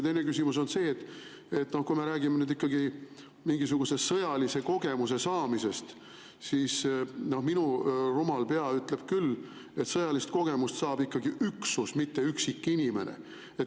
Teine küsimus on see, et kui me räägime ikkagi mingisuguse sõjalise kogemuse saamisest, siis minu rumal pea ütleb küll, et sõjalist kogemust saab ikkagi üksus, mitte üksik inimene.